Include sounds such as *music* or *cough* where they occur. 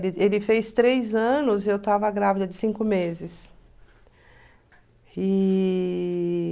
*unintelligible* ele fez três anos e eu estava grávida de cinco meses. E...